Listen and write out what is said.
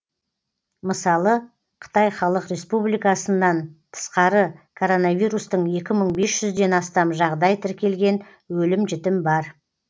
мысалы қытай халық республикасынан тысқары коронавирустың екі мың бес жүзден астам жағдай тіркелген өлім жітім бар